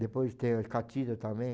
Depois tem a catira também.